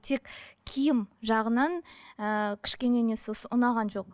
тек киім жағынан ыыы кішкене несі осы ұнаған жоқ